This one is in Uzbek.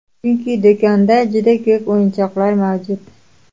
Chunki, do‘konda juda ko‘p o‘yinchoqlar mavjud.